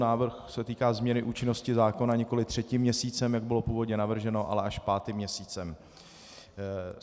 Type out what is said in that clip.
Návrh se týká změny účinnosti zákona nikoliv třetím měsícem, jak bylo původně navrženo, ale až pátým měsícem.